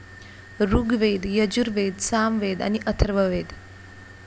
ऋग्वेद, यजुर्वेद, सामवेद आणि अथर्ववेद.